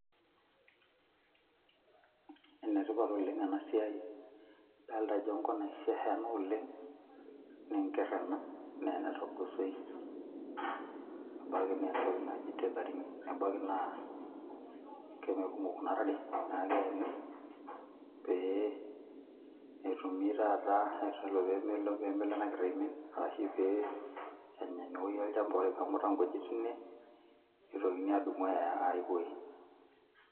Enetipat oleng enasiai dalta ajo enkop naisiasha ena oleng neenkerr ena nena togosoi abaki naa entoki naji tethering ebaki naa kemekumok kuna tare naku keeni pee etumi taata enelo pemelo enakerr aimin arashi pee enya inewoi olchamba ore peemuta nkujit tine nitokini adumu aaya ae woji.